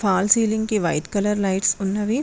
Hall ceiling కి white colour lights ఉన్నవి.